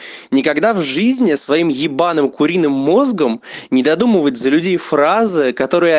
никогда в жизни своим ебаным куриным мозгом не додумывать за людей фразы которые они